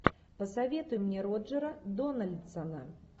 посоветуй мне роджера дональдсона